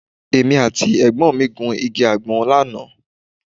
Èmi àti ẹ̀gbọ́n mi gun igi àgbọn lánàá